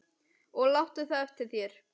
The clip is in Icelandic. Og láttu það eftir þér.